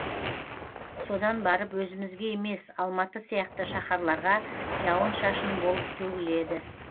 содан барып өзімізге емес алматы сияқты шахарларға жауын шашын болып төгіледі